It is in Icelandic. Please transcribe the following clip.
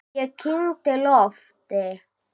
Ég kyngdi lofti.